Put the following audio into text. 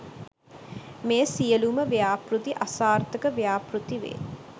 මේ සියලුම ව්‍යාපෘති අසාර්ථක ව්‍යාපෘතිවේ